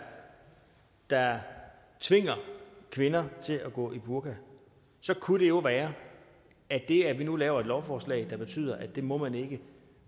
der tvinger kvinder til at gå med burka så kunne det jo være at det at vi nu laver et lovforslag der betyder at det må man ikke